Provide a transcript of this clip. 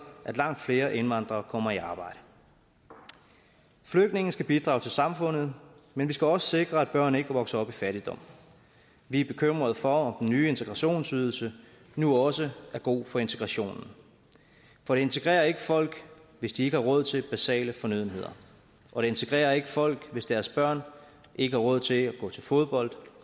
at langt flere indvandrere kommer i arbejde flygtninge skal bidrage til samfundet men vi skal også sikre at børn ikke vokser op i fattigdom vi er bekymrede for om den nye integrationsydelse nu også er god for integrationen for det integrerer ikke folk hvis de ikke har råd til basale fornødenheder og det integrerer ikke folk hvis deres børn ikke har råd til at gå til fodbold